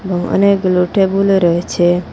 এবং অনেকগুলা টেবুলও রয়েছে।